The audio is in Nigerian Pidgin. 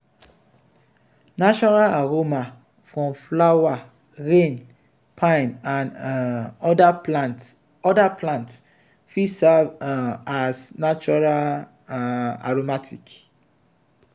natural aroma from flower rain pine and um oda plants oda plants fit serve um as natural um aromatic